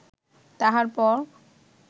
তাহার পর